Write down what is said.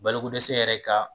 Balokodɛsɛ yɛrɛ ka